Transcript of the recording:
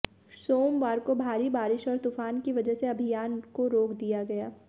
सोमवार को भारी बारिश और तूफान की वजह से अभियान को रोक दिया गया